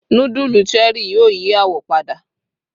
nudulu Cherie yíò yí awọ pada